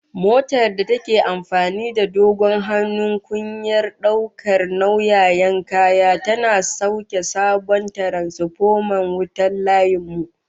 Motar da take amfani da dogon hannun kungiyar daukar nauyayan kaya, tana sauke sabon tiransfoman wuta na layin mu